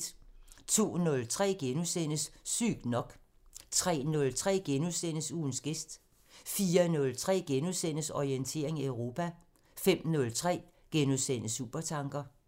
02:03: Sygt nok * 03:03: Ugens gæst * 04:03: Orientering Europa * 05:03: Supertanker *